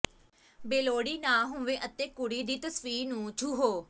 ਬੇਲੋੜੀ ਨਾ ਹੋਵੋ ਅਤੇ ਕੁੜੀ ਦੀ ਤਸਵੀਰ ਨੂੰ ਛੂਹੋ